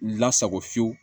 Lasago fiyewu